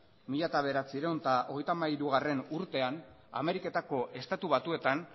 mila bederatziehun eta hogeita hamairugarrena urtean ameriketako estatu batuetan